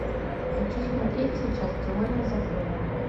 хочу смотреть сейчас теория запоя